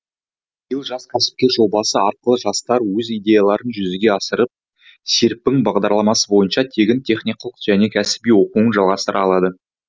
биыл жас кәсіпкер жобасы арқылы жастар өз идеяларын жүзеге асырып серпін бағдарламасы бойынша тегін техникалық және кәсіби оқуын жалғастыра алады